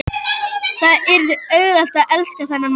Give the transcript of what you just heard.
Það yrði auðvelt að elska þennan mann.